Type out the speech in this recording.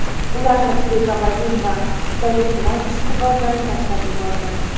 Ularni pregabalin va zaleplon ishqibozlari tashlab yuborgan.